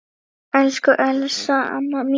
Elsku Elsa amma mín.